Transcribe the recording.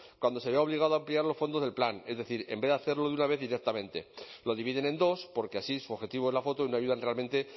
cuando se vio obligado a ampliar los fondos del plan es decir en vez de hacerlo de una vez directamente lo dividen en dos porque así su objetivo es la foto y no ayudan realmente